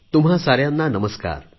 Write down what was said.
तुम्हा साऱ्यांना नमस्कार